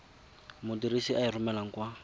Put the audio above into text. modirisi a e romelang kwa